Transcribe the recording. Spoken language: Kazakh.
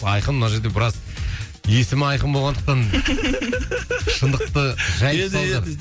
айқын мына жерде біраз есімі айқын болғандықтан шындықты жайып салды